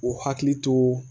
U hakili to